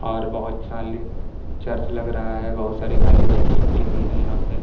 और बहुत चाली चर्च लग रहा है बहुत सारी खाली बेंच चिपड़ी हुई है यहाँ पे।